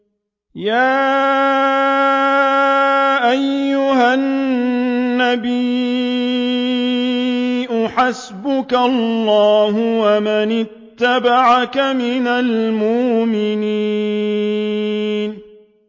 يَا أَيُّهَا النَّبِيُّ حَسْبُكَ اللَّهُ وَمَنِ اتَّبَعَكَ مِنَ الْمُؤْمِنِينَ